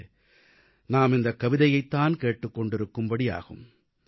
பிறகு நாம் இந்தக் கவிதையைத் தான் கேட்டுக் கொண்டிருக்கும் படி ஆகும்